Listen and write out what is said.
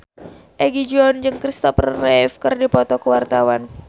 Egi John jeung Christopher Reeve keur dipoto ku wartawan